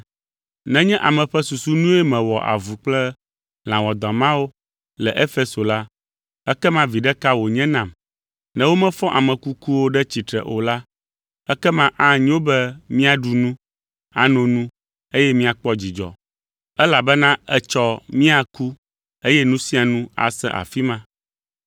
Nenye ame ƒe susu nue mewɔ avu kple lã wɔadã mawo le Efeso la, ekema viɖe ka wònye nam? Ne womefɔ ame kukuwo ɖe tsitre o la, “Ekema anyo be míaɖu nu, ano nu eye míakpɔ dzidzɔ, elabena etsɔ míaku eye nu sia nu ase afi ma.”